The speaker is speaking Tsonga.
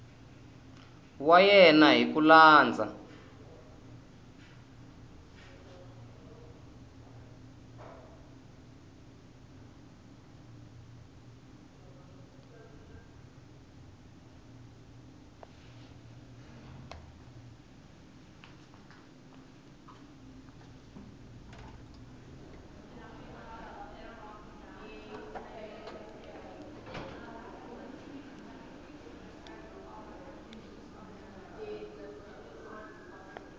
wa yena hi ku landza